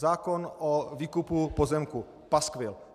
Zákon o výkupu pozemků - paskvil.